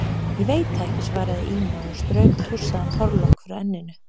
Ég veit það ekki, svaraði Ína og strauk tússaðan hárlokk frá enninu.